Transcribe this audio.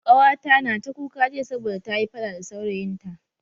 Kawata na ta kuka jiya saboda ta yi fada da saurayin ta.